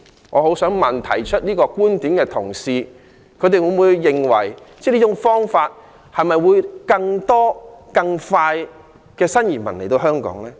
我很想問，提出這個觀點的同事，會否認為這種方法會令更多新移民更快來到香港呢？